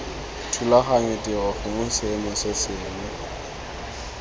thulaganyo tiro gongwe seemo sengwe